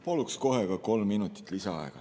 Palun kohe ka kolm minutit lisaaega.